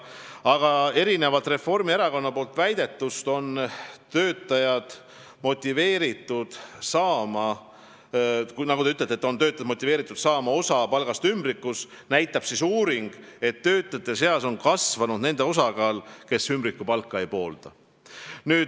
Aga erinevalt Reformierakonna väidetust, et töötajad on motiveeritud saama osa palgast ümbrikus, näitab uuring, et töötajate seas on kasvanud nende osakaal, kes ümbrikupalka ei poolda.